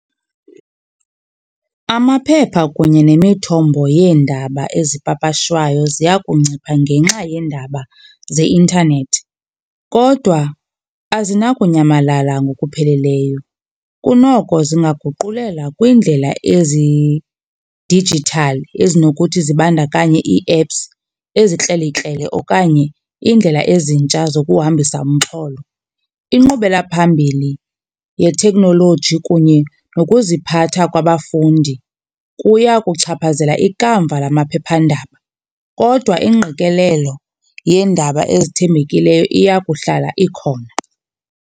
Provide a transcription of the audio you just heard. Amaphepha kunye nemithombo yeendaba ezipapashwayo ziya kuncipha ngenxa yeendaba zeintanethi. Kodwa azinakunyamalala ngokupheleleyo, kunoko zingaguqulela kwindlela ezi-digital ezinokuthi zibandakanye ii-apps ezikrelekrele okanye iindlela ezintsha zokuhambisa umxholo. Inkqubelaphambili yeteknoloji kunye nokuziphatha kwabafundi kuya kuchaphazela ikamva lamaphephandaba kodwa ingqikelelo yeendaba ezithembekileyo iya kuhlala ikhona.